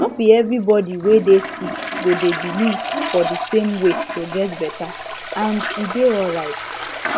no be everybody wey dey sick go dey believe for di same way to get better and e dey alright